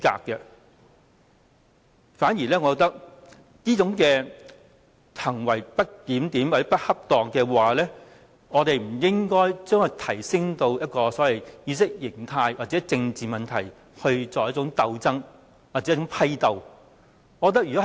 我反而認為，我們不應該就着這種不檢點或不恰當的行為，提升至意識形態或政治問題的鬥爭或批鬥。